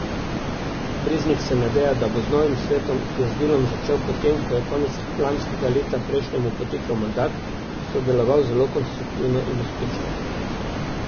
Breznik se nadeja, da bo z novim svetom, ki je s delom začel po tem, ko je konec lanskega leta prejšnjemu potekel mandat, sodeloval zelo konstruktivno in uspešno.